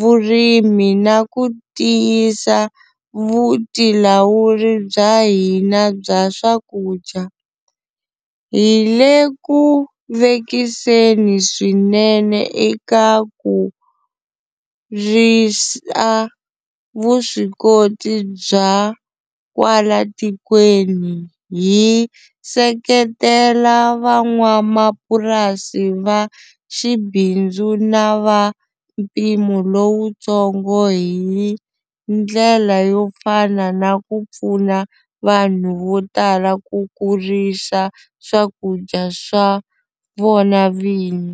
vurimi na ku tiyisa vutilawuri bya hina bya swakudya, hi le ku vekiseni swinene eka ku risa vuswikoti bya kwala tikweni, hi seketela van'wamapurasi va xibindzu na va mpimo lowutsongo hi ndlela yo fana na ku pfuna vanhu vo tala ku kurisa swakudya swa vona vini.